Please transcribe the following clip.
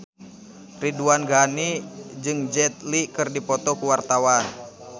Ridwan Ghani jeung Jet Li keur dipoto ku wartawan